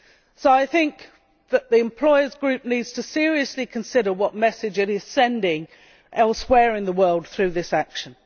So I think that the employers' group needs to seriously consider what message it is sending elsewhere in the world through this action.